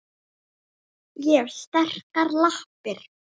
Ég hef sterkar lappir.